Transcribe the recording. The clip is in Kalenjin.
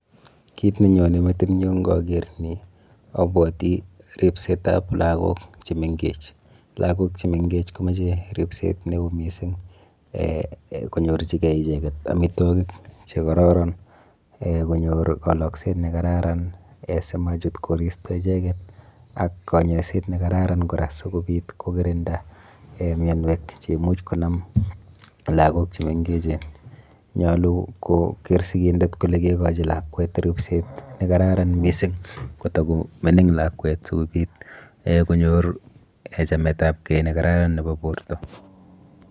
Kit nenyone metinyu nkaker ni abwoti ripsetap lagok chemenkech. Lagok chemenkech komoche ripset neo mising eh konyorchikei icheket amitwokik chekororon eh konyor kalokset nekararan simochut koristo icheket ak kanyoiset nekararan kora sikobit kokirinda mianwek cheimuch konam lagok chemengechen. Nyolu koker sikindet kole kekochi lakwet ripset nekararan mising kotakomining lakwet sikobit eh konyor chametapkei nekararan nepo borto.